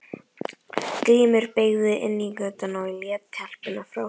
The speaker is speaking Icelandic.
Grímur beygði inn í götuna og lét telpuna frá sér.